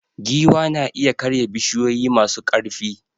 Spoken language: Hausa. Giwa na iya karya bishiyoyi masu ƙarfi.